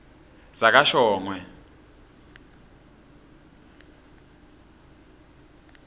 sakashongwe